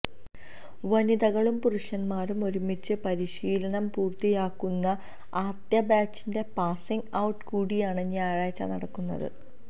വനിതകളും പുരുഷന്മാരും ഒരുമിച്ച് പരിശീലനം പൂര്ത്തിയാക്കുന്ന ആദ്യ ബാച്ചിന്റെ പാസിങ് ഔട്ട് കൂടിയാണ് ഞായറാഴ്ച നടക്കുന്നത്